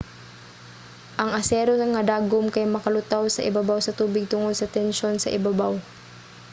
ang asero nga dagom kay makalutaw sa ibabaw sa tubig tungod sa tensyon sa ibabaw